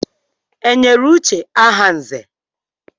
E nyere Uche aha nzè?